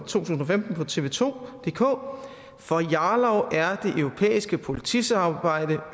tusind og femten på tv2dk for jarlov er det europæiske politisamarbejde